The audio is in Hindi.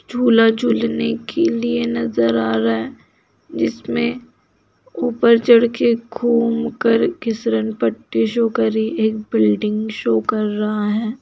झूला झुलने के लिए नजर आ रहा है जिसमें ऊपर चढ़ के घूमकर गिसरनपट्टी शो कर रही है एक बिल्डिंग शो कर रहा है।